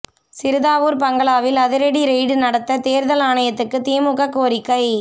சிறுதாவூர் பங்களாவில் அதிரடி ரெய்டு நடத்த தேர்தல் ஆணையத்துக்கு திமுக கோரிக்கை